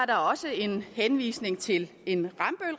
der også en henvisning til en